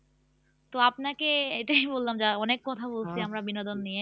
তো আপনাকে এটাই বললাম যা অনেক কথা বলছি আমরা বিনোদন নিয়ে